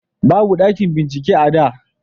babu ɗakin bincike a da